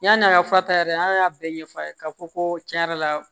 Yann'an ka fa ta yɛrɛ an y'a bɛɛ ɲɛfɔ a ye ka fɔ ko tiɲɛ yɛrɛ la